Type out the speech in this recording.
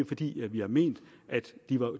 fordi vi har ment at